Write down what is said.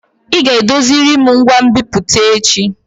Ị ga edoziriri ngwa nbipute echi!